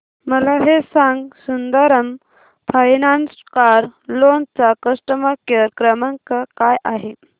मला हे सांग सुंदरम फायनान्स कार लोन चा कस्टमर केअर क्रमांक काय आहे